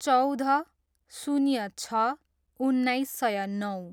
चौध, शून्य छ, उन्नाइस सय नौ